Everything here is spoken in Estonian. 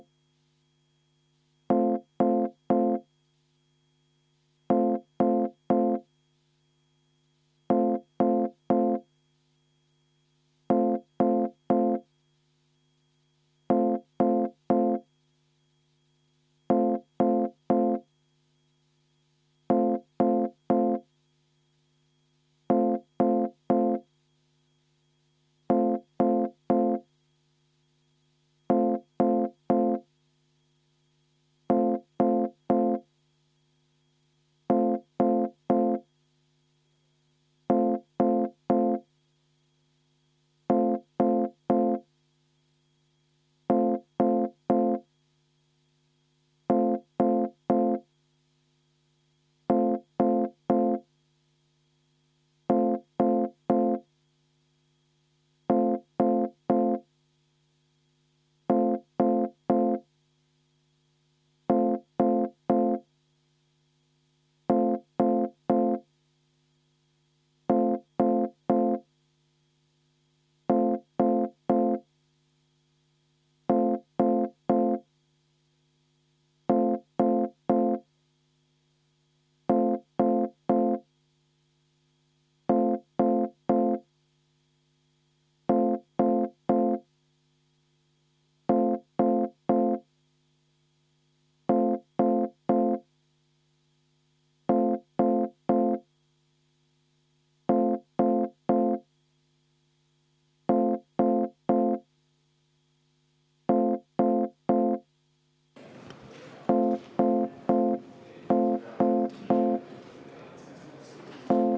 V a h e a e g